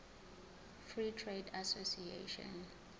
free trade association